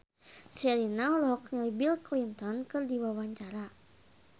Sherina olohok ningali Bill Clinton keur diwawancara